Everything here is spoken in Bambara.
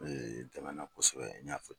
Tɛmɛna kɔsɛbɛ n y'a fɔ